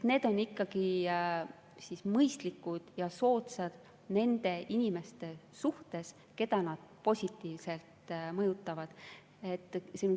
Need on ikkagi mõistlikud ja soodsad muudatused nende inimeste jaoks, keda need positiivselt mõjutavad.